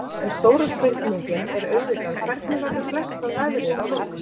En stóra spurningin er auðvitað hvernig verður blessað veðrið á morgun?